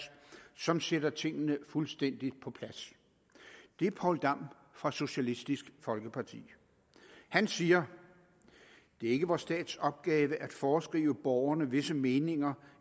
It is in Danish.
som sætter tingene fuldstændig på plads det er poul dam fra socialistisk folkeparti han siger det er ikke vor stats opgave at foreskrive borgerne visse meninger